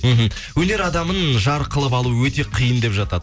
мхм өнер адамын жар қылып алу өте қиын деп жатады